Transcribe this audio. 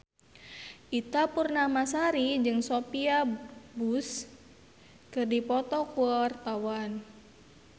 Ita Purnamasari jeung Sophia Bush keur dipoto ku wartawan